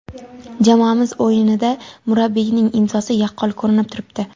Jamoamiz o‘yinida murabbiyining ‘imzosi’ yaqqol ko‘rinib turibdi.